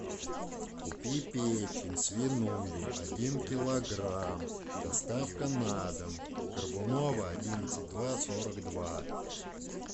купи печень свиную один килограмм доставка на дом горбунова одиннадцать два сорок два